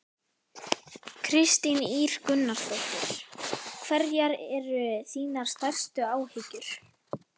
Kristín Ýr Gunnarsdóttir: Hverjar eru þínar stærstu áhyggjur?